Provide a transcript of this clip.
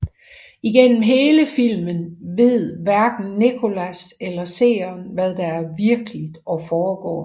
Igennem hele filmen ved hverken Nicholas eller seeren hvad der er virkeligt foregår